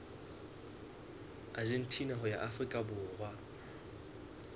argentina ho ya afrika borwa